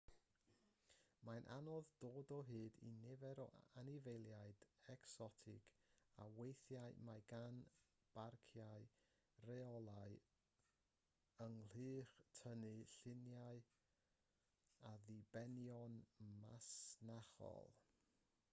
mae'n anodd dod o hyd i nifer o anifeiliaid ecsotig ac weithiau mae gan barciau reolau ynghylch tynnu lluniau at ddibenion masnachol